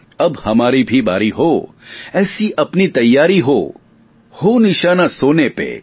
અબ હમારી ભી બારી હો એસી અપની તૈયારી હો હો નિશાના સોને પે